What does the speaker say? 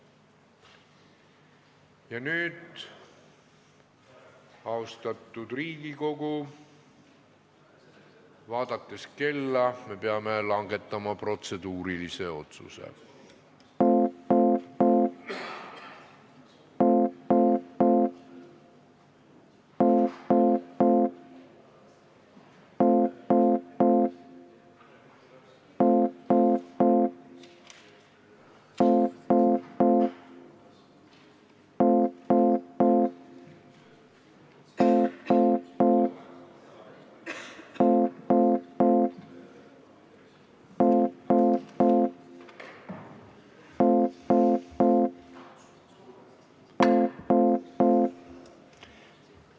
Ja nüüd, austatud Riigikogu, kui vaadata kella, siis me peame langetama protseduurilise otsuse.